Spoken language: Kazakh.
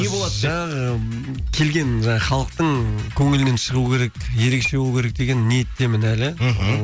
жаңағы келген халықтың көңілінен шығу керек ерекше болу керек деген ниеттемін әлі мхм